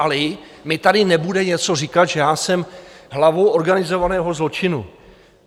Alí mi tady nebude něco říkat, že já jsem hlavou organizovaného zločinu.